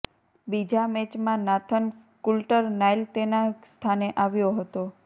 બીજા મેચમાં Nathan Coulter Nile તેના સ્થાને આવ્યો હતો